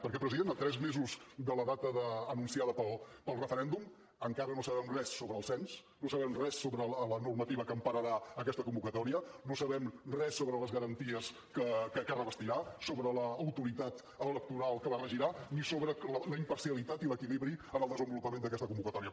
perquè president a tres mesos de la data anunciada per al referèndum encara no sabem res sobre el cens no sabem res sobre la normativa que empararà aquesta convocatòria no sabem res sobre les garanties que revestirà sobre l’autoritat electoral que la regirà ni sobre la imparcialitat i l’equilibri en el desenvolupament d’aquesta convocatòria